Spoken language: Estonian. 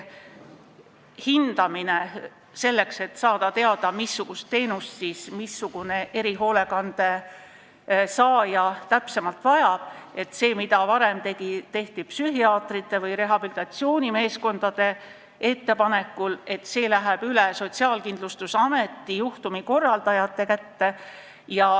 Hindamine, et saada teada, missugust teenust mingi erihoolekandeteenuse saaja täpsemalt vajab – varem tehti seda psühhiaatrite või rehabilitatsioonimeeskondade ettepanekul –, läheb üle Sotsiaalkindlustusameti juhtumikorraldajate kätte.